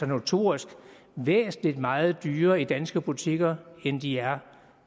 notorisk er væsentlig meget dyrere i de danske butikker end de er